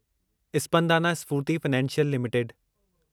Spandana Sphoorty financial limited